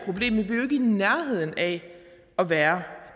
i nærheden af at være